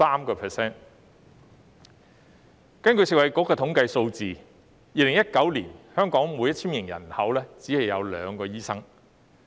根據食物及衞生局的統計數字，在2019年，香港每 1,000 名人口只有2名醫生。